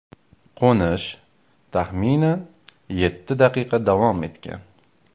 Qo‘nish, taxminan, yetti daqiqa davom etgan.